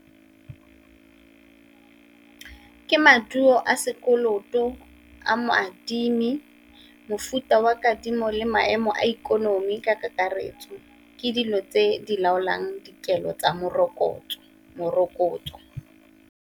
Ke maduo a sekoloto a mo adimi, mofuta wa kadimo, le maemo a ikonomi ka kakaretso. Ke dilo tse di laolang dikelo tsa morokotso, morokotso.